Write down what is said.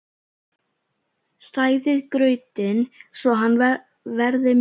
Hrærið grautinn svo hann verði mjúkur.